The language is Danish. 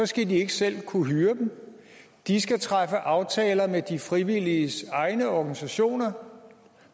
skal de ikke selv kunne hyre dem de skal træffe aftaler med de frivilliges egne organisationer